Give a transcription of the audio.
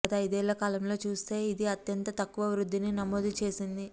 గత ఐదేళ్ల కాలంలో చూస్తే ఇది అత్యంత తక్కువ వృద్ధిని నమోదు చేసింది